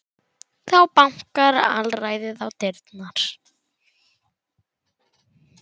Þá bankar alræðið á dyrnar.